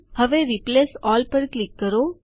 હવે replace all પર click કરો